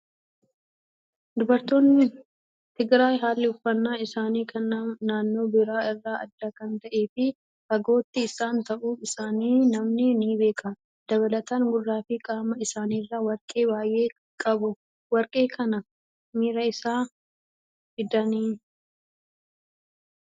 Dubartoonni Tigraay haalli uffannaa isaanii kan naannoo biraa irraa adda kan ta'ee fi fagootti isaan ta'uu isaanii namni ni beeka. Dabalataan gurraa fi qaama isaaniirraa warqee baay'ee qabu. Warqee kana maraa eessaa fidanii?